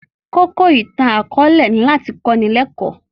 Kókó ìtàn akọ̀ọ̀lẹ ni láti kọ́ni lẹ́kọ̀